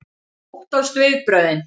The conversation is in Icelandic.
Hún óttast viðbrögðin.